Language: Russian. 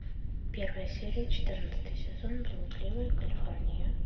первая серия четырнадцатый сезон блудливая калифорния